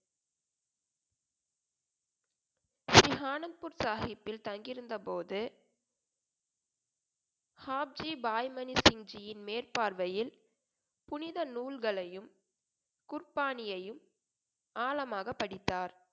ஸ்ரீஹானக்பூர் சாஹிப்பில் தங்கியிருந்த போது ஹாப்ஸி பாய் மணி சிங்ஜியின் மேற்பார்வையில் புனித நூல்களையும் குர்பானியையும் ஆழமாக படித்தார்